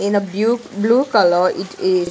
In a bue blue color it is --